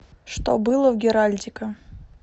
что было в геральдика